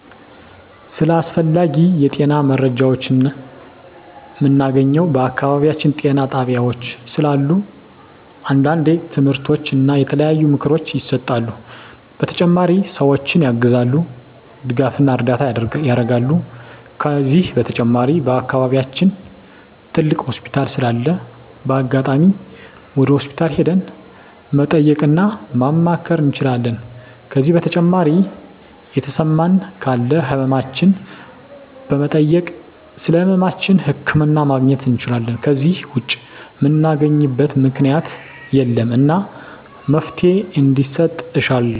ስለ አስፈላጊ የጤና መረጃዎችን ምናገኘው በአካባቢያችን ጤና ጣቤያዎች ስላሉ አንዳንዴ ትምህርቶች እና የተለያዩ ምክሮች ይሰጣሉ በተጨማሪ ሰዎችን ያግዛሉ ድጋፍና እርዳታ ያረጋሉ ከዚህ በተጨማሪ በአከባቢያችን ትልቅ ሆስፒታል ስላለ በአጋጣሚ ወደ ሆስፒታል ሄደን መጠየቅ እና ማማከር እንችላለን ከዜ በተጨማሪ የተሰማን ካለ ህመማችን በመጠየክ ስለህመማችን ህክምና ማግኘት እንችላለን ከዜ ውጭ ምናገኝበት ምክኛት የለም እና መፍትሔ እንዲሰጥ እሻለሁ